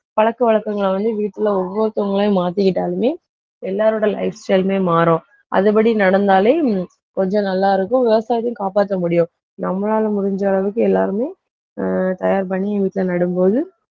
பழக்கவழக்கங்களை வந்து வீட்டில ஒவ்வொருத்தவங்களையும் மாத்திகிட்டாலுமே எல்லாரோட lifestyle லுமே மாறும். அதுபடி நடந்தாலே கொஞ்சம் நல்லா இருக்கும் விவசாயத்தையும் காப்பாத்த முடியும். நம்மளால முடிஞ்ச அளவுக்கு எல்லாருமே ஆஹ் தயார் பண்ணி வீட்டில நடும்போது